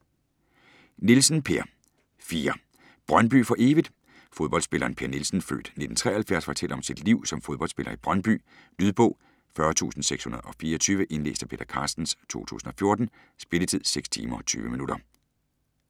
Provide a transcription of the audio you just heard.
Nielsen, Per: 4: Brøndby for evigt? Fodboldspilleren Per Nielsen (f. 1973) fortæller om sit liv som fodboldspiller i Brøndby. Lydbog 40624 Indlæst af Peter Carstens, 2014. Spilletid: 6 timer, 20 minutter.